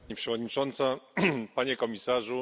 Pani Przewodnicząca! Panie Komisarzu!